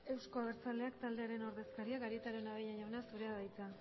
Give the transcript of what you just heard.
euzko abertzaleak taldearen ordezkariak arieta araunabeña jauna zurea da hitza